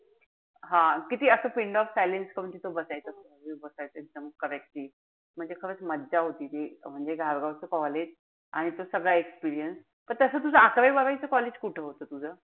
हा. किती असं pin drop silence करून तिथं बसायचो. बसायचं एकदम correct. म्हणजे खरंच मजा होती ती. म्हणजे धारगाव च college आणि तो सगळा experience. पण तस तुझं अकरावी-बारावी च college कुठं होत तुझं?